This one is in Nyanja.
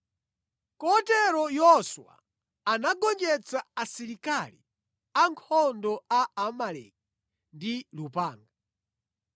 Kotero Yoswa anagonjetsa asilikali ankhondo a Amaleki ndi lupanga.